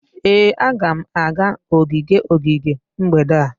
Ee, a ga m aga ogige ogige mgbede a